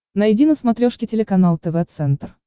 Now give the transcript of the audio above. найди на смотрешке телеканал тв центр